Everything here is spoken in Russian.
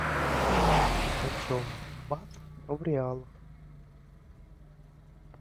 почем бат в реалах